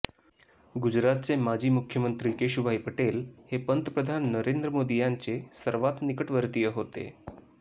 गुजरातचे माजी मुख्यमंत्री केशुभाई पटेल हे पंतप्रधान नरेंद्र मोदी यांचे सर्वात निकटवर्तीय होते